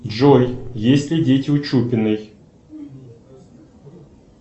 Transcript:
джой есть ли дети у чупиной